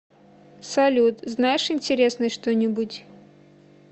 салют знаешь интересное что нибудь